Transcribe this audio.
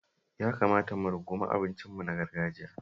Ya kamata mu rungumi abincinmu na gargajiya.